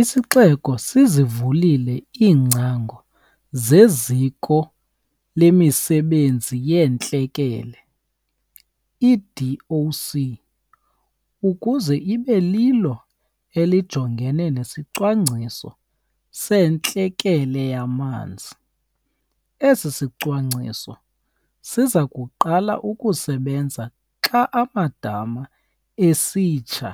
Isixeko sizivulile iingcango zeZiko lemiSebenzi yeeNtlekele, i-DOC, ukuze ibe lilo elijongene nesiCwangciso seNtlekele yaManzi. Esi sicwangciso siza kuqala ukusebenza xa amadama esitsha